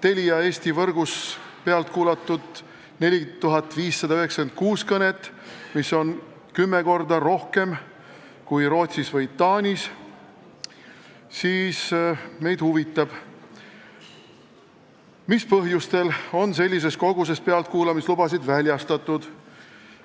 Telia Eesti võrgus on pealt kuulatud 4596 kõnet, mida on kümme korda rohkem kui Rootsis või Taanis, siis meid huvitab, mis põhjusel on sellises koguses pealtkuulamislubasid väljastatud.